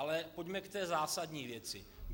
Ale pojďme k té zásadní věci.